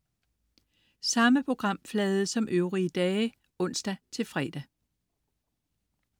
Samme programflade som øvrige dage (ons-fre)